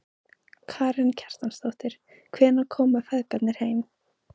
Karen Kjartansdóttir: Hvenær koma feðgarnir heim?